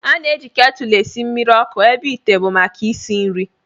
A na-eji ketụl esi mmiri ọkụ ebe ite bụ maka isi nri